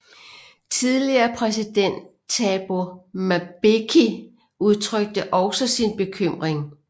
Tidligere præsident Thabo Mbeki udtrykte også sin bekymring